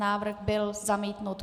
Návrh byl zamítnut.